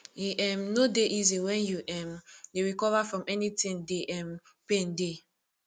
e um no dey easy wen you um dey recover from anything de um pain dey